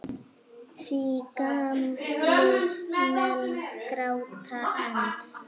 Því gamlir menn gráta enn.